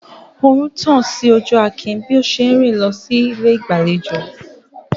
Oòrùn ń tàn sí ojú Akin bí ó ṣe ń rìn lọ sí ilé ìgbàlejò.